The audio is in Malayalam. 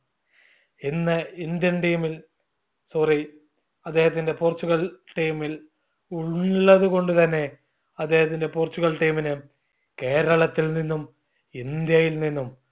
ഇന്ന് indian team ൽ sorry അദ്ദേഹത്തിന്റെ പോർച്ചുഗൽ team ൽ ഉള്ളത് കൊണ്ട് തന്നെ അദ്ദേഹത്തിന്റെ പോർച്ചുഗൽ team ന് കേരളത്തിൽ നിന്നും ഇന്ത്യയിൽ നിന്നും